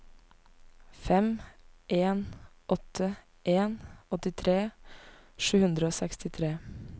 fem en åtte en åttitre sju hundre og sekstitre